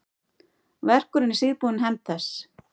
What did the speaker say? Verkurinn er síðbúin hefnd þess.